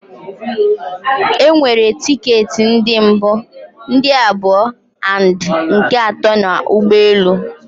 E nwere ticket ndi mbu, ndị abụọ and nke ato na ụgbọelu